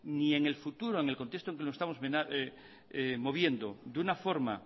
ni en el futuro en el contexto en que nos estamos moviendo de una forma